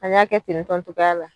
An y'a kɛ ten tɔn togoya la